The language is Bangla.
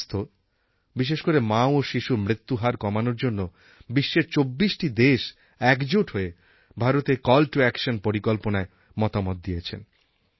স্বাস্থ্য বিশেষ করে মা ও শিশুর মৃত্যুহার কমানোর জন্য বিশ্বের ২৪টি দেশ একজোট হয়ে ভারতের কল টো অ্যাকশন পরিকল্পনায় মতামত দিয়েছেন